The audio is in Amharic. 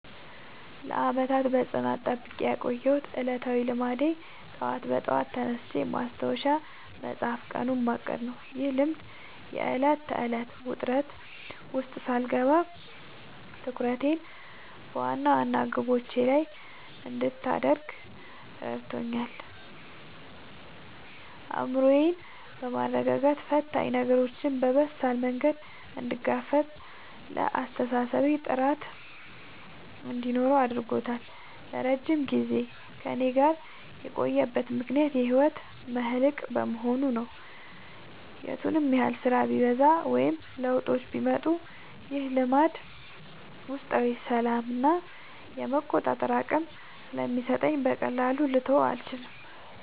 ለዓመታት በጽናት ጠብቄ ያቆየሁት ዕለታዊ ልማዴ ጠዋት በጠዋት ተነስቶ ማስታወሻ መጻፍና ቀኑን ማቀድ ነው። ይህ ልማድ የዕለት ተዕለት ውጥረት ውስጥ ሳልገባ ትኩረቴን በዋና ዋና ግቦቼ ላይ እንድታደርግ ረድቶኛል። አእምሮዬን በማረጋጋት ፈታኝ ነገሮችን በበሳል መንገድ እንድጋፈጥና ለአስተሳሰቤ ጥራት እንዲኖረው አድርጓል። ለረጅም ጊዜ ከእኔ ጋር የቆየበት ምክንያት የህይወቴ መልህቅ በመሆኑ ነው። የቱንም ያህል ስራ ቢበዛ ወይም ለውጦች ቢመጡ፣ ይህ ልማድ ውስጣዊ ሰላምና የመቆጣጠር አቅም ስለሚሰጠኝ በቀላሉ ልተወው አልቻልኩም።